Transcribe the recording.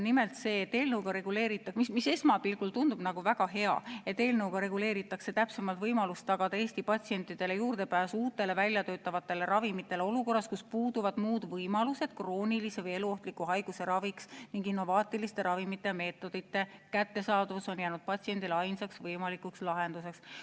Nimelt, esmapilgul tundub väga hea, et eelnõuga reguleeritakse täpsemalt võimalus tagada Eesti patsientidele juurdepääs uutele, väljatöötatavatele ravimitele olukorras, kus puuduvad muud võimalused kroonilise või eluohtliku haiguse raviks ning innovaatiliste ravimite ja meetodite kättesaadavus on jäänud patsiendile ainsaks võimalikuks lahenduseks.